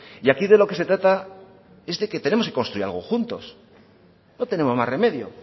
y aquí de lo que se trata es de que tenemos que construir algo juntos no tenemos más remedio